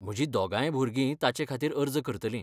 म्हजीं दोगांय भुरगीं ताचेखातीर अर्ज करतलीं.